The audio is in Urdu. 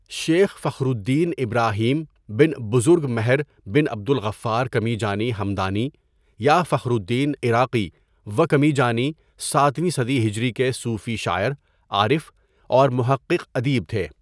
شیخ فخرالّدین ابراهیم بن بزرگ مهر بن عبدالغفار کمیجانی همدانی یا فخرالّدین عراقی و کمیجانی ساتویں صدی ہجری کے صوفی شاعر، عارف اور محقق ادیب تھے.